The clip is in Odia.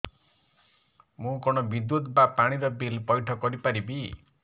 ମୁ କଣ ବିଦ୍ୟୁତ ବା ପାଣି ର ବିଲ ପଇଠ କରି ପାରିବି